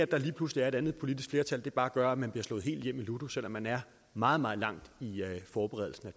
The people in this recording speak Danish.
der lige pludselig er et andet politisk flertal bare gør at man bliver slået helt hjem i ludo selv om man er meget meget langt i forberedelsen af